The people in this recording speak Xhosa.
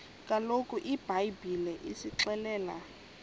kaloku ibhayibhile isixelela